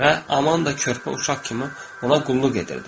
Və Amanda körpə uşaq kimi ona qulluq edirdi.